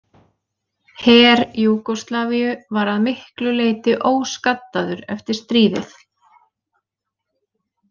Her Júgóslavíu var að miklu leyti óskaddaður eftir stríðið.